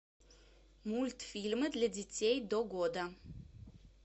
мультфильмы для детей до года